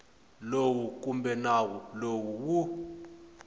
lowu kumbe nawu lowu wu